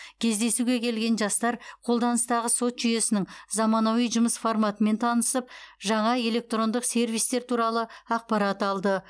кездесуге келген жастар қолданыстағы сот жүйесінің заманауи жұмыс форматымен танысып жаңа электрондық сервистер туралы ақпарат алды